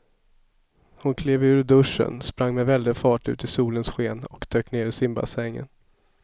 Hon klev ur duschen, sprang med väldig fart ut i solens sken och dök ner i simbassängen.